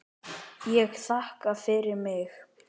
Ég þakka fyrir mig.